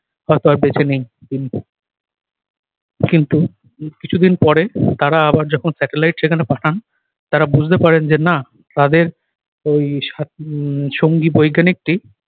হয়তো আর বেঁচে নেই তিনি কিন্তু কিছুদিন পরে তারা আবার যখন satellite সেখানে পাঠান তারা বুঝতে পারেন যে না তাদের ওই সাথ~ উহ সঙ্গী বৈজ্ঞানিক টি